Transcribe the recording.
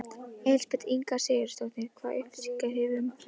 Elísabet Inga Sigurðardóttir: Hvaða upplýsingar hefurðu um umferðina?